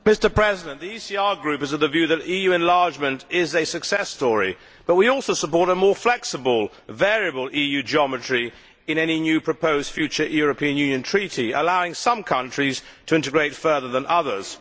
Mr President, the ECR Group is of the view that EU enlargement is a success story, but we also support a more flexible, variable EU geometry in any new proposed future European Union treaty allowing some countries to integrate further than others.